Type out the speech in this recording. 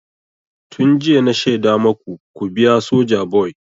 Tun jiya na shaida maku ku biya Sojaboy!